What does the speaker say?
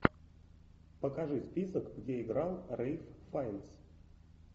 покажи список где играл рэйф файнс